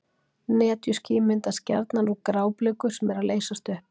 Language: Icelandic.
Netjuský myndast gjarnan úr grábliku sem er að leysast upp.